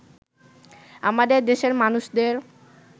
আমাদের দেশের মানুষদের